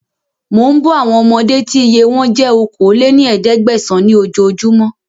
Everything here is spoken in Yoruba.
Mò ń bọ̀ àwọn ọmọdé tí iye wọn jẹ́ okòó lé ní ẹ̀ẹ́dẹ́gbẹ́sán ni oojo júmọ́